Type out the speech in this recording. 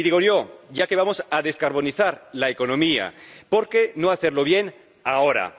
Y digo yo, ya que vamos a descarbonizar la economía, por qué no hacerlo bien ahora